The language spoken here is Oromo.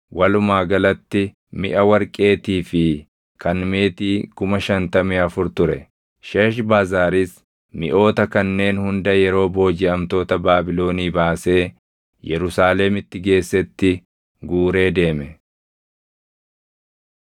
Walumaa galatti miʼa warqeetii fi kan meetii 5,400 ture. Sheeshbazaaris miʼoota kanneen hunda yeroo boojiʼamtoota Baabilonii baasee Yerusaalemitti geessetti guuree deeme.